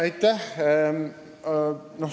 Aitäh!